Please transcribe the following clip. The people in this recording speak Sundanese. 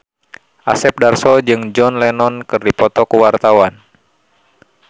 Asep Darso jeung John Lennon keur dipoto ku wartawan